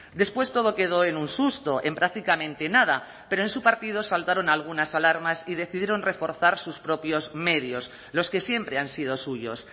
después todo quedó en un susto en prácticamente nada pero en su partido saltaron algunas alarmas y decidieron reforzar sus propios medios los que siempre han sido suyos